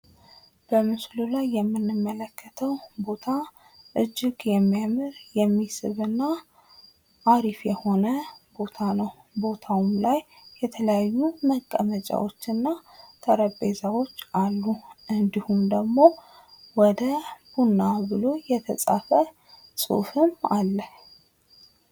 በምስሉ ላይ የምንመለከተው ቦታ እጅግ የሚያምር የሚስብ እና አሪፍ የሆነ ቦታ ነው ። ቦታውም ላይ የተለያዩ መቀመጫዎች እና ጠረጴዛዎች አሉ እንዲሁም ደግሞ ወደ ቡና ብሎ የተፃፈ ጽሑፍም አለ።